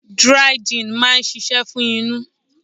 Dry gin máa ń ṣíṣe fún inú.